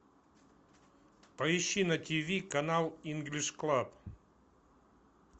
поищи на тв канал инглиш клаб